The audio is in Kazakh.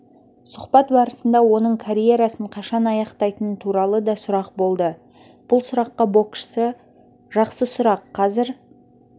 сұхбат барысында оның карьерасын қашан аяқтайтыны туралы да сұрақ болды бұл сұраққа боксшы жақсы сұрақ қазір